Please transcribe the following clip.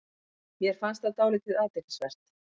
Mér fannst það dálítið athyglisvert